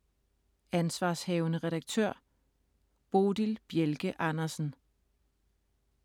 Ansv. redaktør: Bodil Bjelke Andersen